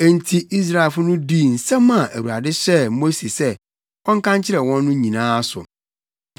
Enti Israelfo no dii nsɛm a Awurade hyɛɛ Mose sɛ ɔnka nkyerɛ wɔn no nyinaa so.